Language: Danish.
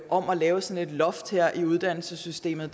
om at lave sådan et loft i uddannelsessystemet